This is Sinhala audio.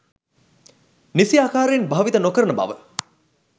නිසි ආකාරයෙන් භාවිත නො කරන බව